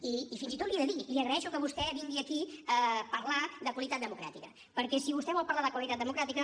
i fins i tot l’hi he de dir li agraeixo que vostè vingui aquí a parlar de qualitat democràtica perquè si vostè vol parlar de qualitat democràtica